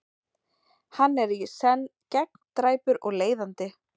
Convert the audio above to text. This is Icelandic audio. Hann er í senn gegndræpur og leiðandi.